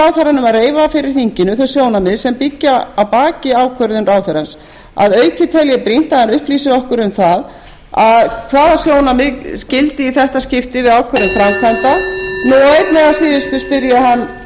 að reifa fyrir þinginu þau sjónarmið sem byggja að baki ákvörðun ráðherrans að auki tel ég brýnt að hann upplýsi okkur um það hvaða sjónarmið gildi í þetta skipti við ákvörðun framkvæmda